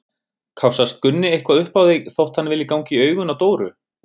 Kássast Gunni eitthvað upp á þig þótt hann vilji ganga í augun á Dóru?